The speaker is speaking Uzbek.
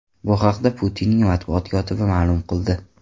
Bu haqda Putinning matbuot kotibi ma’lum qildi.